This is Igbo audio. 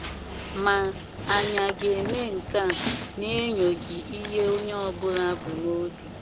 Maa, anyi aga eme nke a na enyoghi ihe onye ọbula bụ na obi